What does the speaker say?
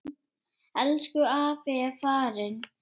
Elsku afi er farinn.